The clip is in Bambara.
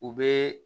U bɛ